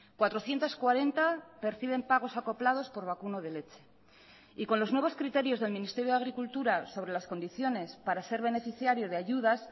cuatrocientos cuarenta perciben pagos acoplados por vacuno de leche y con los nuevos criterios del ministerio de agricultura sobre las condiciones para ser beneficiario de ayudas